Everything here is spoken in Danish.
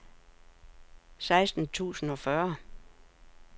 seksten tusind og fyrre